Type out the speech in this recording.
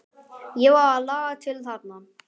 Ég varð að laga til þarna.